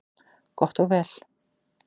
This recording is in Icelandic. Gott og vel,